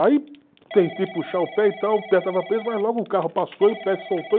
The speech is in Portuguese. Aí tentei puxar o pé e tal, o pé estava preso, mas logo o carro passou e o pé se soltou.